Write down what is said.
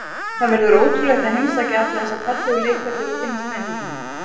Það verður ótrúlegt að heimsækja alla þessa fallegu leikvelli og kynnast menningunni.